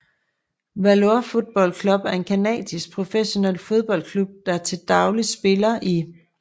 Valour Football Club er en canadisk professionel fodboldklub der til dagligt spiller i